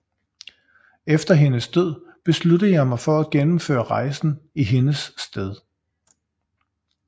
Efter hendes død besluttede jeg mig for at gennemføre rejsen i hendes sted